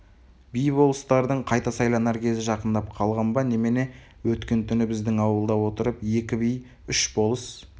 би-болыстардың қайта сайланар кезі жақындап қалған ба немене өткен түні біздің ауылда отырып екі би үш болыс